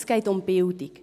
Es geht um Bildung.